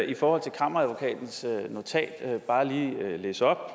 i forhold til kammeradvokatens notat bare lige læse op